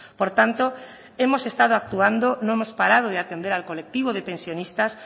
por tanto hemos estado actuando no hemos parado de atender al colectivo de pensionistas